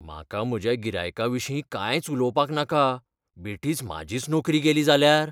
म्हाका म्हज्या गिरायकाविशीं कांयच उलोवपाक नाका, बेठीच म्हाजीच नोकरी गेली जाल्यार?